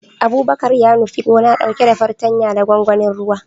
Abubakar ya nufi gona, dauke da fartanya da gwangwanin ruwa